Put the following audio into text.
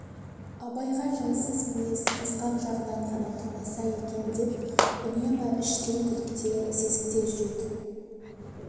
абайға жайсыз мінез ысқақ жағынан ғана тумаса екен деп үнемі іштей күдікте сезікте жүретін